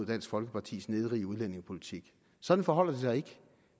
dansk folkepartis nedrige udlændingepolitik sådan forholder det sig ikke